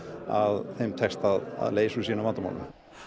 að þeim takist að leysa úr sínum vandamálum